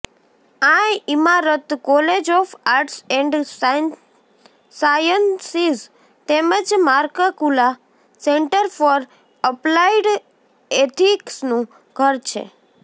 આ ઇમારત college of arts and sciences તેમજ માર્કકુલા સેન્ટર ફોર એપ્લાઇડ એથિક્સનું ઘર છે